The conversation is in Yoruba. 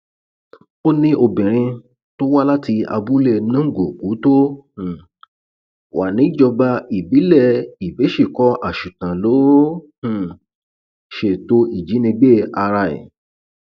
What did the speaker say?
ó ní obìnrin tó wá láti abúlé nung òkú tó um wà níjọba ìbílẹ ìbésìkọ àṣùtàn ló um ṣètò ìjínigbé ara ẹ